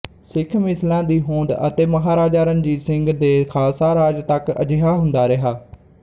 ਸਿੱਖ ਮਿਸਲਾਂ ਦੀ ਹੋਂਦ ਅਤੇ ਮਹਾਰਾਜਾ ਰਣਜੀਤ ਸਿੰਘ ਦੇ ਖਾਲਸਾ ਰਾਜ ਤੱਕ ਅਜਿਹਾ ਹੁੰਦਾ ਰਿਹਾ